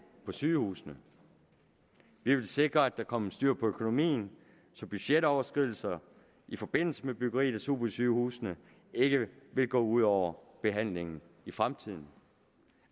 på sygehusene vi ville sikre at der kommer styr på økonomien så budgetoverskridelser i forbindelse med byggeriet af supersygehusene ikke går ud over behandling i fremtiden